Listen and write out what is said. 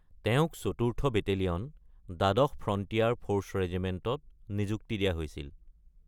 তেওঁক চতুৰ্থ বেটেলিয়ন, দ্বাদশ ফ্ৰণ্টিয়াৰ ফৰ্চ ৰেজিমেণ্টত নিযুক্তি দিয়া হৈছিল।